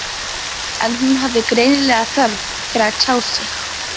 En hún hafði greinilega þörf fyrir að tjá sig.